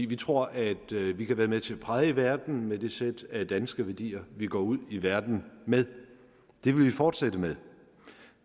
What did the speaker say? vi tror at vi kan være med til at præge verden med det sæt af danske værdier vi går ud i verden med det vil vi fortsætte med